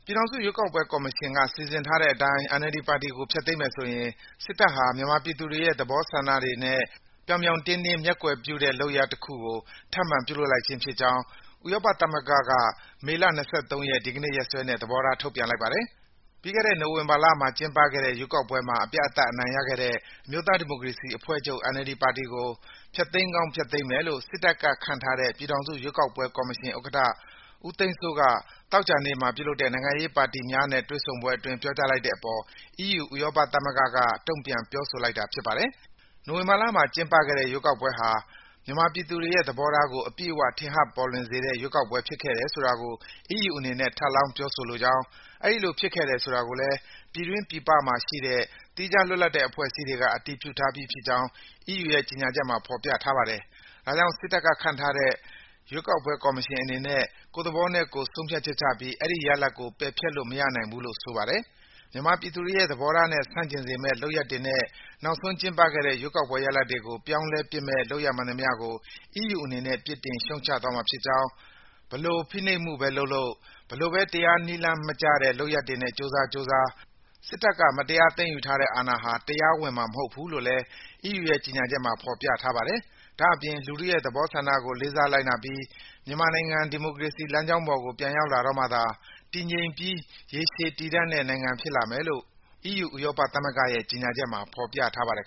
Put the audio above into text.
ြည်ထောင်စုရွေးကောက်ပွဲကော်မရှင်က စီစဉ်ထားတဲ့အတိုင်း NLD ပါတီကို ဖျက်သိမ်းပစ်မယ်ဆိုရင် စစ်တပ်ဟာ မြန်မာပြည်သူတွေရဲ့ သဘောဆန္ဒတွေနဲ့ ဥပဒေကြောင်းအရ လုပ်ထုံးလုပ်နည်းတွေကိုပါ ပြောင်ပြောင်းတင်းတင်း မျက်ကွယ်ပြုတဲ့ လုပ်ရပ်တခုကို ထပ်မံပြုလုပ်လိုက်ခြင်းဖြစ်ကြောင်း ဥရောပသမဂ္ဂက မေလ ၂၃ ရက်၊ ဒီကနေ့ရက်စွဲနဲ့ သဘောထား ထုတ်ပြန်လိုက်ပါတယ်။ ပြီးခဲ့တဲ့ နိုဝင်ဘာလမှာ ကျင်းပခဲ့တဲ့ ရွေးကောက်ပွဲမှာ အပြတ်အသတ် အနိုင်ရခဲ့တဲ့ အမျိုးသားဒီမိုကရေစီအဖွဲ့ချုပ် (NLD) ပါတီကို ဖျက်သိမ်းကောင်း ဖျက်သိမ်းမယ်လို့ စစ်တပ်ကခန့်ထားတဲ့ ပြည်ထောင်စုရွေးကောက်ပွဲကော်မရှင် ဥက္ကဋ္ဌ ဦးသိန်းစိုးက သောကြာနေ့မှာ ပြုလုပ်တဲ့ နိုင်ငံရေးပါတီများနဲ့ တွေ့ဆုံပွဲအတွင်း ပြောကြားလိုက်တဲ့အပေါ် အီးယူ ဥရောပသမဂ္ဂက တုံ့ပြန် ပြောဆိုလိုက်တာ ဖြစ်ပါတယ်။ နိုဝင်ဘာလမှာ ကျင်းပခဲ့တဲ့ ရွေးကောက်ပွဲဟာ မြန်မာပြည်သူတွေရဲ့ သဘောထားကို အပြည့်အဝ ထင်ဟပ်ပေါ်လွင်စေတဲ့ ရွေးကောက်ပွဲ ဖြစ်ခဲ့တယ်ဆိုတာကို အီးယူအနေနဲ့ ထပ်လောင်း ပြောဆိုလိုကြောင်း၊ အဲဒီလိုဖြစ်ခဲ့တယ် ဆိုတာကိုလည်း ပြည်တွင်း ပြည်ပမှာရှိတဲ့ သီးခြားလွတ်လပ်တဲ့ အဖွဲ့အစည်းတွေက အတည်ပြုထားပြီးဖြစ်ကြောင်း အီးယူ ကြေညာချက်မှာ ဖော်ပြထားပါတယ်။ ဒါကြောင့် စစ်တပ်ကခန့်ထားတဲ့ ရွေးကောက်ပွဲကော်မရှင် အနေနဲ့ ကိုယ့်သဘောနဲ့ကိုယ် ဆုံးဖြတ်ချက်ချပြီး အဲဒီရလဒ်ကို ပယ်ဖျက်ပစ်လို့ မရနိုင်ဘူးလို့ ဆိုပါတယ်။ မြန်မာပြည်သူတွေရဲ့ သဘောထားနဲ့ ဆန့်ကျင်စေမယ့် လုပ်ရပ်တွေနဲ့ နောက်ဆုံးကျင်းပခဲ့တဲ့ ရွေးကောက်ပွဲရလဒ်တွေကို ပြောင်းလဲပစ်မယ့် လုပ်ရပ်မှန်သမျှကို အီးယူအနေနဲ့ ပြစ်တင်ရှုတ်ချသွားမှာဖြစ်ကြောင်း၊ ဘယ်လိုဖိနှိပ်မှုပဲလုပ်လုပ်၊ ဘယ်လိုပဲ တရားနည်းလမ်းမကျတဲ့ လုပ်ရပ်တွေနဲ့ ကြိုးစားကြိုးစား စစ်တပ်က မတရားသိမ်းယူထားတဲ့ အာဏာဟာ တရားဝင်မှာ မဟုတ်ဘူးလို့လည်း အီးယူရဲ့ ကြေညာချက်မှာ ဖော်ပြထားပါတယ်။ ဒါ့အပြင် လူထုရဲ့သဘောဆန္ဒကို လေးစားလိုက်နာပြီး မြန်မာနိုင်ငံ ဒီမိုကရေစီ လမ်းကြောင်းပေါ်ကို ပြန်ရောက်လာတော့မှသာ တည်ငြိမ်ပြီး ရေရှည်တည်တံ့တဲ့နိုင်ငံ ဖြစ်လာမယ်လို့ အီးယူ ဥရောပသမဂ္ဂရဲ့ ကြေညာချက်မှာ ဖော်ပြထားပါတယ်